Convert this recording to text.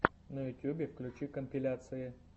на ютюбе включи компиляции